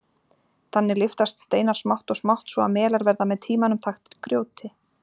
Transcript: Þannig lyftast steinar smátt og smátt svo að melar verða með tímanum þaktir grjóti.